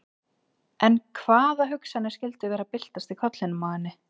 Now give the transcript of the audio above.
En hvaða hugsanir skyldu vera að byltast í kollinum á henni?